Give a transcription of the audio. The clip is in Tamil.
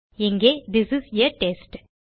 இங்கே திஸ் இஸ் ஆ டெஸ்ட்